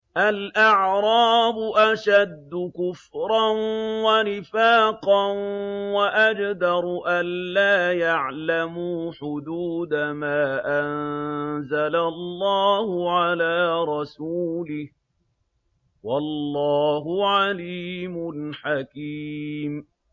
الْأَعْرَابُ أَشَدُّ كُفْرًا وَنِفَاقًا وَأَجْدَرُ أَلَّا يَعْلَمُوا حُدُودَ مَا أَنزَلَ اللَّهُ عَلَىٰ رَسُولِهِ ۗ وَاللَّهُ عَلِيمٌ حَكِيمٌ